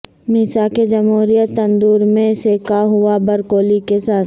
میثاق جمہوریت تندور میں سینکا ہوا بروکولی کے ساتھ